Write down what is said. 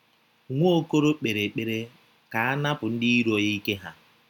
Nwaokolo kpere ekpere ka a napụ ndị iro ya ike ha..